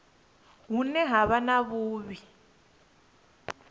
hune ha vha na vhuiivhi